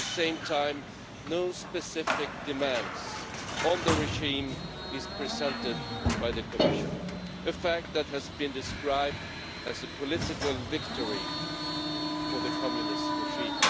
At the same time, no specific demand on the regime is presented by the Commission, a fact that has been described as a political victory for the communist regime.